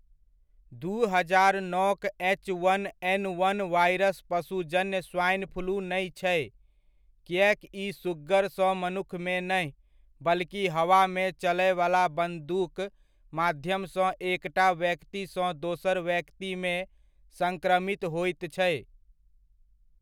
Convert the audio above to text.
दू हजार नओक H one N one virus पशुजन्य स्वाइन फ्लू नै छै, किएक ई सुग्गर सँ मनुक्खमे नहि, बल्कि हवामे चलयवला बूंदक माध्यम सँ एकटा व्यक्ति सँ दोसर व्यक्ति मे संक्रमित होइत छै।